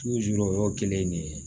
o y'o kelen de ye